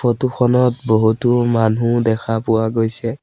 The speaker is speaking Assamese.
ফটো খনত বহুতো মানুহ দেখা পোৱা গৈছে।